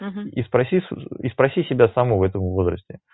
угу и спроси и спроси себя самого в этом возрасте